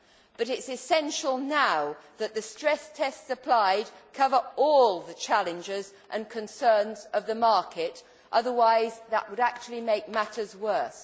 But it is essential now that the stress tests applied cover all the challenges and concerns of the market, otherwise that would actually make matters worse.